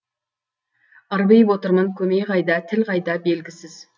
ырбиып отырмын көмей қайда тіл қайда белгісіз